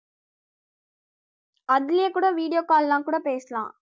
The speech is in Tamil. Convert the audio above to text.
அதிலயே கூட video call எல்லாம் கூட பேசலாம்